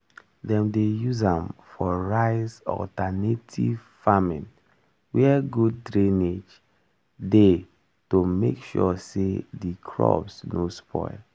dem dey use am for rice-alternative farming where good drainage dey to make sure say di crops nor spoil